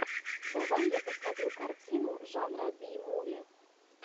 давай я посмотрю картину жанра би муви